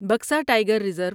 Buxa tiger reserve